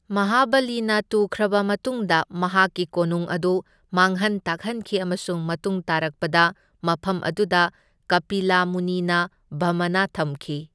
ꯃꯍꯥꯕꯂꯤꯅ ꯇꯨꯈ꯭ꯔꯕ ꯃꯇꯨꯡꯗ ꯃꯍꯥꯛꯀꯤ ꯀꯣꯅꯨꯡ ꯑꯗꯨ ꯃꯥꯡꯍꯟ ꯇꯥꯛꯍꯟꯈꯤ ꯑꯃꯁꯨꯡ ꯃꯇꯨꯡ ꯇꯥꯔꯛꯄꯗ ꯃꯐꯝ ꯑꯗꯨꯗ ꯀꯄꯤꯂꯥ ꯃꯨꯅꯤꯅ ꯕꯥꯃꯅ ꯊꯝꯈꯤ꯫